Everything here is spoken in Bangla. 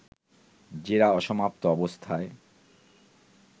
জেরা অসমাপ্ত অবস্থায়